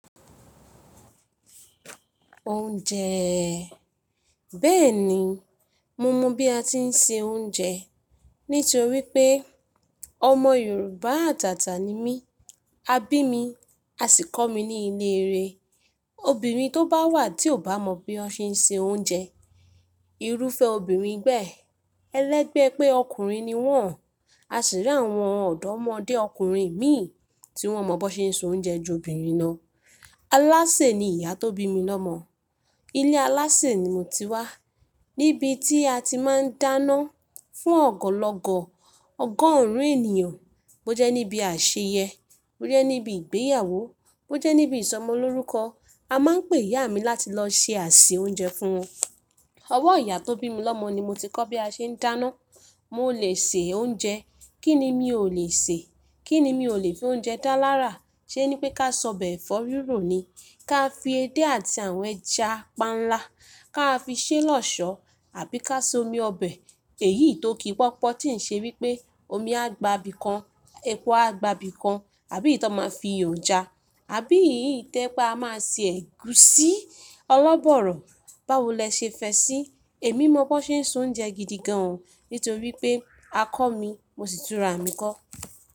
Oúnjẹẹẹ. Bẹ́ẹ̀ni, mo mọ bí a ti ń se oúnjẹ nítorí pé ọmọ Yorùbá àtàtà ni mí. A bí mi, a sì kọ́ mi ní ilé re. Obìnrin tó bá wà tí ò bá mọ bí wọ́n ṣe ń se oúnjẹ, irúfẹ́ obìnrin gbẹ́ẹ̀. Elẹ́gbẹ́ pé ọkùnrin ni wọ́n. A sì rí àwọn ọ̀dọ́mọdé ọkùnrin mì tí wọ́n mọ̀ ban ṣe ń so oúnjẹ ju obìnrin lọ. Alásè ni ìyá tó bí mi lọ́mọ. Ilé alásè ni mo ti wá. Níbi tí a ti máa ń dáná fún ọ̀gọ̀lọ̀gọ̀, ọgọ́rùn ènìyàn. Bó jẹ́ níbi àṣeyẹ, bó jẹ́ níbi ìgbéyàwó, bó jẹ́ níbi ìsọmọlórúkọ. A máa ń pè ìyá mi láti lọ ṣe àṣìẹ oúnjẹ fún wọn. Ọwọ́ ìyá tó bí mi lọ́mọ ni mo ti kọ́ bí a ṣe ń dáná. Mo lè sè oúnjẹ. Kí ni mi ò lè sè? Kí ni mi ò lè fi oúnjẹ dá lára? Ṣé ní pé ká sóbẹ̀ ẹ̀fọ́ rírò ni? Ká fi edé àti àwọn ẹja panla. Ká fi sé lọ́ṣọ̀ọ́, àbí ká ṣe omi ọbẹ̀ èyí tó kí pọ́pọ̀ tí ń ṣe wípé omi á gba ibi kan, epo á gba ibi kan, àbí ìtọ́ ma fi yọja, àbí ìyí tẹ́ pé a máa se ẹ̀gúsí, ọlọ́bọ̀ọ̀rọ̀, báwo lẹ ṣe fẹ́ sí? Èmi mọ bó ṣe ń so oúnjẹ gidi gan an. Nítorí pé a kọ́ mi, mo sì túra mi kọ́.